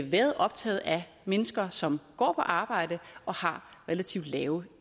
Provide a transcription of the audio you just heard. været optaget af mennesker som går på arbejde og har relativt lave